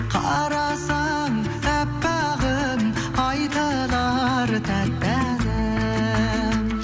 қарасаң әппағым айтылар тәтті әнім